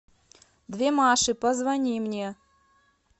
две маши позвони мне